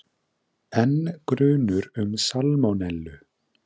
Enn grunur um salmonellu